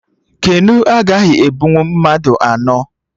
Keno a agaghị ebunwu mmadụ anọ